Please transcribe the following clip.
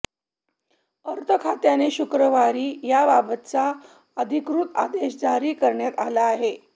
अर्थखात्याने शुक्रवारी याबाबतचा अधिकृत आदेश जारी करण्यात आला आहे